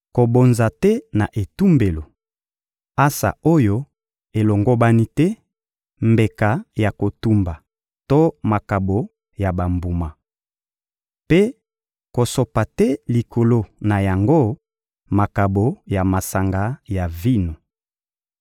Kobonza te na etumbelo: ansa oyo elongobani te, mbeka ya kotumba to makabo ya bambuma. Mpe kosopa te likolo na yango makabo ya masanga ya vino.